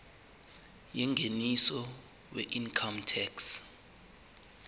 yengeniso weincome tax